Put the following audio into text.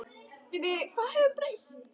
Hvað hefur breyst?